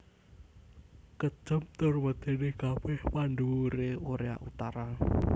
Kejem tur medeni kabeh pandhuwure Korea Utara